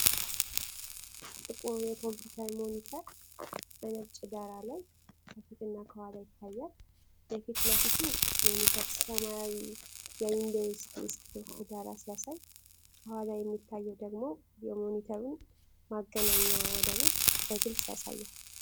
ጥቁር የኮምፒውተር ሞኒተር በነጭ ዳራ ላይ ከፊትና ከኋላው ይታያል። የፊት ለፊቱ ሞኒተር ሰማያዊ የዊንዶውስ ዴስክቶፕ ዳራ ሲያሳይ፣ ከኋላው የሚታየው ደግሞ የሞኒተሩን ማገናኛ ወደቦች በግልጽ ያሳያል።